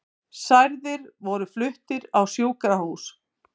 Særðir voru fluttir á sjúkrahús